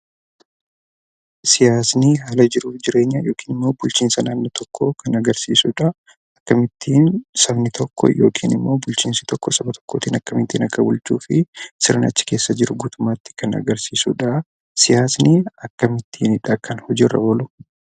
Siyaasni haala jiruu fi jireenya yookiin immoo bulchiinsa naannoo tokkoo kan agarsiisudha. Kan ittiin bulchiisni tokko yookiin sabni tokko akkamittiin akka bulchuu fi sirna achi keessa jiru guutummaatti kan ibsudha. Siyaasni akkamittiinidha kan hojiirra oolu?